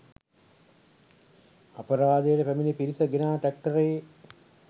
අපරාධයට පැමිණි පිරිස ගෙනා ට්‍රැක්ටරයේ